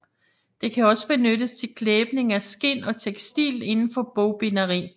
Det kan også benyttes til klæbning af skind og tekstil inden for bogbinderiet